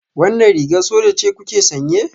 Wannan rigar soja ce kuke sanye?